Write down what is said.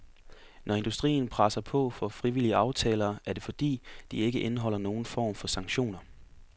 Når industrien presser på for frivillige aftaler, er det fordi, de ikke indeholder nogen form for sanktioner.